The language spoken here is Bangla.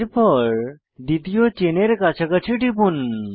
এরপর দ্বিতীয় চেনের কাছাকাছি টিপুন